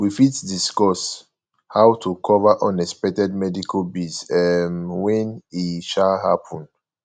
we fit discuss how to cover unexpected medical bills um when e um happen